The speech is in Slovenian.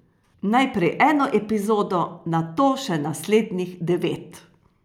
Najprej eno epizodo, nato še naslednjih devet.